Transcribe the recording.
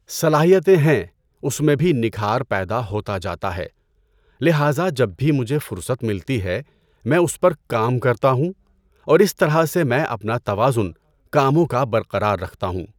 صلاحیتیں ہیں اس میں بھی نکھار پیدا ہوتا جاتا ہے لہٰذا جب بھی مجھے فرصت ملتی ہے میں اس پر کام کرتا ہوں اور اس طرح سے میں اپنا توازن کاموں کا برقرار رکھتا ہوں۔